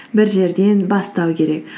бір жерден бастау керек